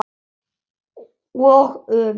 Og öfugt.